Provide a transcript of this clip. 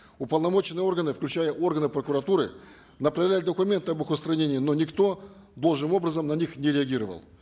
уполномоченные органы включая органы прокуратуры направляли документы об их устранении но никто должным образом на них не реагировал